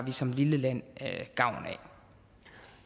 som lille land